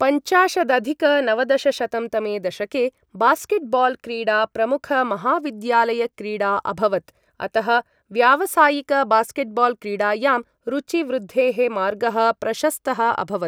पञ्चाशदधिक नवदशशतं तमे दशके बास्केट्बाल् क्रीडा प्रमुख महाविद्यालयक्रीडा अभवत्, अतः व्यावसायिक बास्केट्बाल् क्रीडायां रुचि वृद्धेः मार्गः प्रशस्तः अभवत्।